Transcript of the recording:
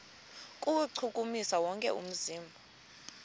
kuwuchukumisa wonke umzimba